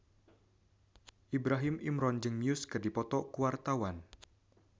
Ibrahim Imran jeung Muse keur dipoto ku wartawan